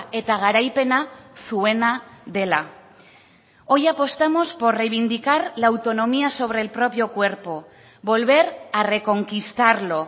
eta garaipena zuena dela hoy apostamos por reivindicar la autonomía sobre el propio cuerpo volver a reconquistarlo